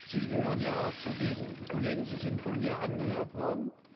Sie gehören ja auch zu den Kollegen sie sind von mir angehört worden.